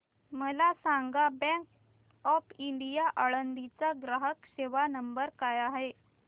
मला सांगा bank of India Alandi चा ग्राहक सेवा नंबर काय आहे